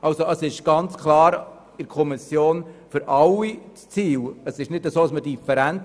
Das ist ganz klar für alle Mitglieder der Kommission das Ziel, wir haben hier keine Differenz.